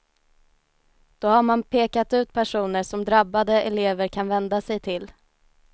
Då har man pekat ut personer som drabbade elever kan vända sig till.